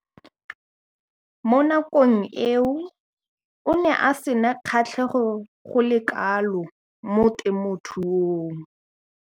Mo nakong eo o ne a sena kgatlhego go le kalo mo temothuong.